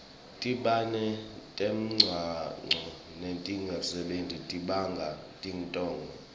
tibane temgwaco natingasebenti tibanga tingoti